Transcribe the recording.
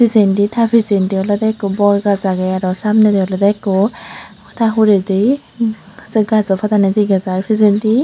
pijendi ta pichendi olwdey ikko bor gaas agey aro samnedi olwdey ikko ta huredey hm sei gajo padani dega jai pichendi.